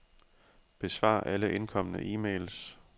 Besvar alle indkomne e-mails.